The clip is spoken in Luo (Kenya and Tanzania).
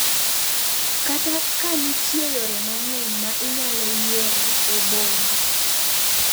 Kata ka nitie yore mang’eny ma inyalo yiero e bombe,